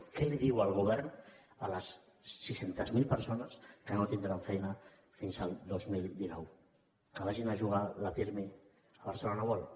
què diu el govern a les sis cents miler persones que no tindran feina fins el dos mil dinou que vagin a jugar el pirmi al barcelona world